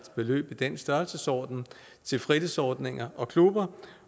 beløb i den størrelsesorden til fritidsordninger og klubber